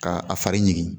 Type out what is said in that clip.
Ka a fari ɲigin